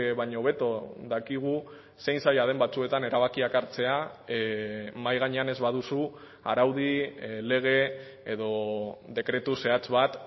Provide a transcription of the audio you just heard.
baino hobeto dakigu zein zaila den batzuetan erabakiak hartzea mahai gainean ez baduzu araudi lege edo dekretu zehatz bat